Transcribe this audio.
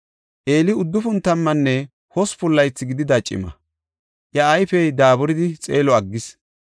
Eeli uddufun tammanne hospun laythi gidida cima; iya ayfey daaburidi xeelo aggis.